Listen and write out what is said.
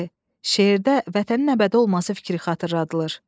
C. Şeirdə vətənin əbədi olması fikri xatırladılır.